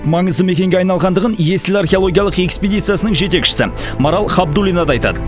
маңызды мекенге айналғандығын есіл археологиялық эскпедициясының жетекшісі марал хабдулина да айтады